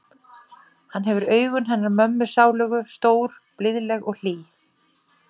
Hann hefur augun hennar mömmu sálugu, stór og blíðleg og hlý.